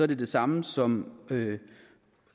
det det samme som